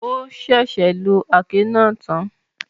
O sẹsẹ lo aké náà tán